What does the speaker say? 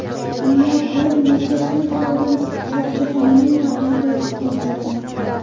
Ammo bir necha kun oldin Shohjahonning raqibi o‘zgargan.